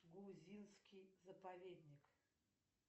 грузинский заповедник